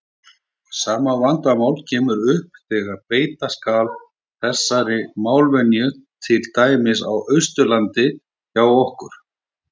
Sama vandamál kemur upp þegar beita skal þessari málvenju til dæmis á Austurlandi hjá okkur.